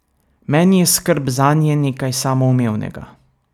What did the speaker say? Meni je skrb zanje nekaj samoumevnega.